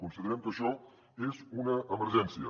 considerem que això és una emergència